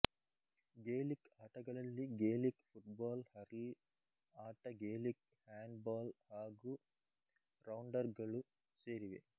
Gaelic ಆಟಗಳಲ್ಲಿ Gaelic football hurl ಆಟ Gaelic handball ಹಾಗು ರೌಂಡರ್ ಗಳು ಸೇರಿವೆ